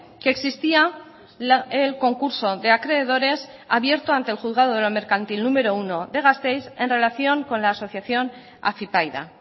que existía el concurso de acreedores abierto ante el juzgado de lo mercantil número uno de gasteiz en relación con la asociación afypaida